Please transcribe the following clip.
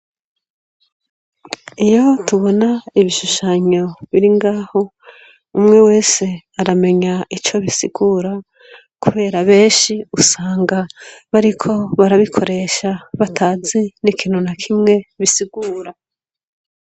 Iyo tubona ibishushanyo biri ngaho umwe wese aramenya ico bisigura kubera benshi usanga bariko barabikoresha batazi n'ikintu na kimwe bisigura.